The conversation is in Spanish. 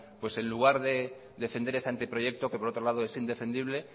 en lugar de defender ese anteproyecto que por otro lado es indefendible